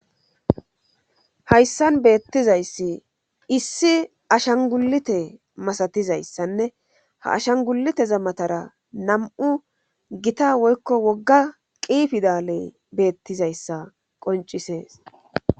Hayssan beettizayssi issi ashangulite masatizayssanne ha ashangulite za matara nam7u gita woykko wogga qiifidaaley beettizayssa qoncisees